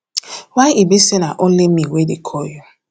why e be say na only me only me wey dey call you